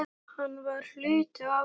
Hann var hluti af okkur.